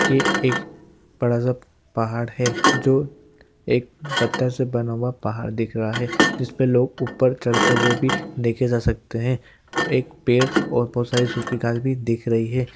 ये एक बड़ा सा पहाड़ है जो एक पत्थर से बना हुआ पहाड़ दिख रहा है जिसपे लोग ऊपर चढ़ते हुए भी देखे जा सकते हैं एक पेड़ और बहुत सारी सूखी घास भी दिख रही--